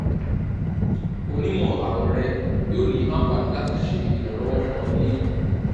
onimọ-arun rẹ yoo ni anfani lati ṣe iranlọwọ fun ọ ni eyi